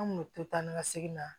An kun bɛ to taa ni ka segin na